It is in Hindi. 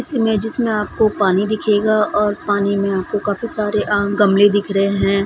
इस इमेजेस में आपको पानी दिखेगा और पानी में आपको काफी सारे अ गमले दिख रहे हैं।